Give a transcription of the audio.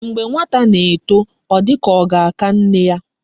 Mgbe nwata na eto o di ka oga aka nne ya